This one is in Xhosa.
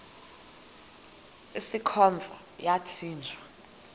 usikhova yathinjw a